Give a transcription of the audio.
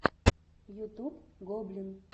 ютюб гоблин